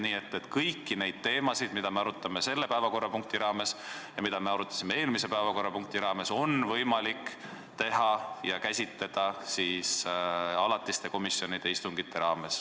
Nii et kõiki neid teemasid, mida me arutame selle päevakorrapunkti raames ja mida me arutasime eelmise päevakorrapunkti raames, on võimalik käsitleda alatiste komisjonide istungitel.